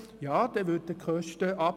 Ja, dann würden die Kosten sinken!